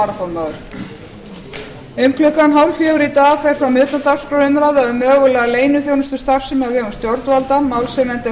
um klukkan þrjú þrjátíu í dag fer fram umræða utan dagskrár um mögulega leyniþjónustustarfsemi á vegum stjórnvalda málshefjandi er